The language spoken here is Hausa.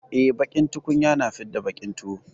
E, baƙin tukunya na fidda baƙin tuwo.